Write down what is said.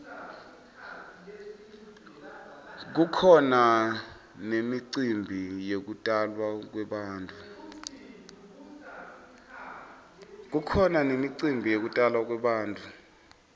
kukhona nemicimbi yekutalwa kwebantfu